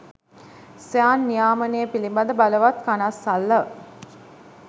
ස්වයං නියාමනය පිලිබඳ බලවත් කනස්සල්ල